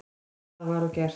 Það var og gert.